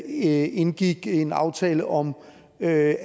indgik en aftale om at